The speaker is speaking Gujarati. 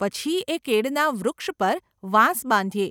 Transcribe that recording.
પછી એ કેળના વૃક્ષ પર વાંસ બાંધીએ.